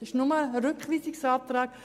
Nur das will der Rückweisungsantrag.